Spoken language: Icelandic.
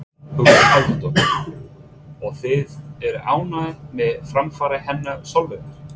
Hugrún Halldórsdóttir: Og þið eruð ánægðir með framfarir hennar Sólveigar?